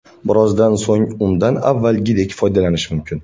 Birozdan so‘ng undan avvalgidek foydalanish mumkin.